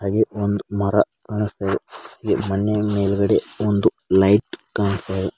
ಹಾಗೇ ಒಂದ್ ಮರ ಕಾಣಿಸ್ತಾ ಇದೆ ಈ ಮಣ್ಣಿನ ಮೇಲ್ಗಡೆ ಒಂದು ಲೈಟ್ ಕಾಣಿಸ್ತಾ ಇದೆ.